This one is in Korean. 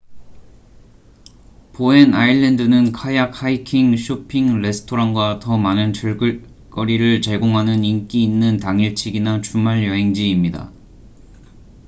보엔 아일랜드는 카약 하이킹 쇼핑 레스토랑과 더 많은 즐길 거리를 제공하는 인기 있는 당일치기나 주말여행지입니다